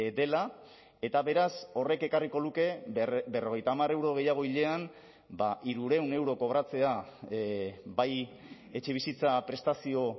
dela eta beraz horrek ekarriko luke berrogeita hamar euro gehiago hilean hirurehun euro kobratzea bai etxebizitza prestazio